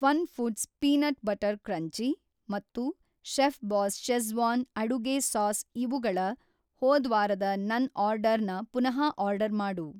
FunFoods peanut butter crunchy ಮತ್ತು ಚೆಫ್‌ಬಾಸ್ schezwan ಅಡುಗೆ ಸಾಸ್ ಇವುಗಳ ಹೋದ್ವಾರದ ನನ್‌ ಆರ್ಡರ್‌ನ ಪುನಃ ಆರ್ಡರ್‌ ಮಾಡು.